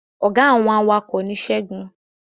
Ọ̀gá àwọn awakọ̀ ni segun